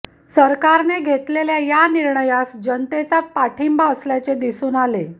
सरकारने घेतलेल्या या निर्णयास जनतेचा पाठिंबा असल्याचे दिसून आले